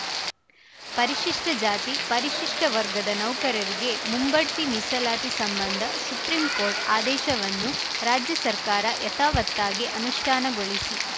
ಪರಿಶಿಷ್ಟಜಾತಿ ಪರಿಶಿಷ್ಟವರ್ಗದ ನೌಕರರಿಗೆ ಮುಂಬಡ್ತಿ ಮೀಸಲಾತಿ ಸಂಬಂಧ ಸುಪ್ರೀಂಕೋರ್ಟ್‌ ಆದೇಶವನ್ನು ರಾಜ್ಯ ಸರ್ಕಾರ ಯಥಾವತ್ತಾಗಿ ಅನುಷ್ಠಾನಗೊಳಿಸಿ